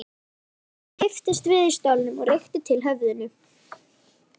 Drengurinn kipptist við í stólnum og rykkti til höfðinu.